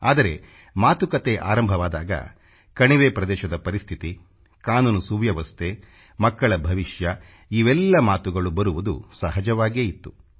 ಆದರೆ ಮಾತುಕತೆ ಆರಂಭವಾದಾಗ ಕಣಿವೆ ಪ್ರದೇಶದ ಪರಿಸ್ಥಿತಿ ಕಾನೂನು ವ್ಯವಸ್ಥೆ ಮಕ್ಕಳ ಭವಿಷ್ಯ ಇವೆಲ್ಲ ಮಾತುಗಳು ಬರುವುದು ಸಹಜವಾಗೇ ಇತ್ತು